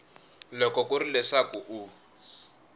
loko ku ri leswaku u